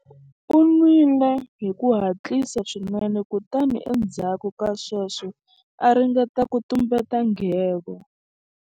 U nwile hi ku hatlisa swinene kutani endzhaku ka sweswo a ringeta ku tumbeta nghevo.